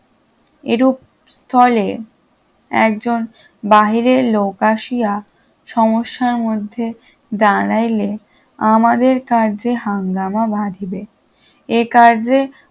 এরূপ স্থলে একজন বাহিরের লোক আসিয়া সমস্যার মধ্যে দাঁড়াইলে আমাদের কার্যে হাঙ্গামা বাধিবে এ কাজে